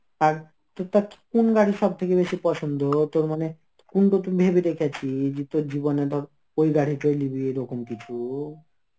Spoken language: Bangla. আর তর~ কোন গাড়ি সব থেকে বেশি পছন্দ তোর মানে কোন নতুন ভেবে দেখেছি যে তোর জীবনে তোর ওই গাড়িটা লিবি এরকম কিছু.